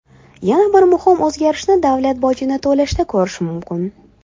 Yana bir muhim o‘zgarishni davlat bojini to‘lashda ko‘rish mumkin.